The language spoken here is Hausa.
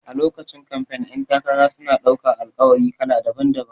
A lokacin kamfen ƴan takara suna ɗaukan Alƙawari kala daban-daban